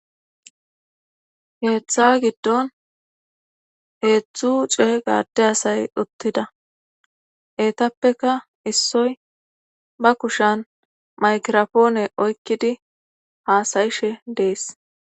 heeththa giddon heezhzhu cega gaade asay uttida eetappeka issoy ba kushan maykiropoone oykkidi haasayishe dees.